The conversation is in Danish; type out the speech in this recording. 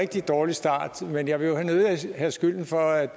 rigtig dårlig start men jeg vil nødig have skylden for at